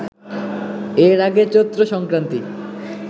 এর আগে ‘চৈত্রসংক্রান্তি’